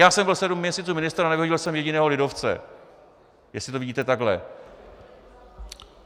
Já jsem byl sedm měsíců ministrem a nevyhodil jsem jediného lidovce, jestli to vidíte takhle.